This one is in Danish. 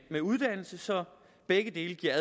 med uddannelse så begge dele giver